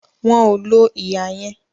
Wọn ò lo ihà yẹn